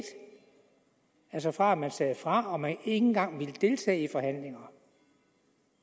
altså fra at man sagde fra og ikke engang ville deltage i forhandlingerne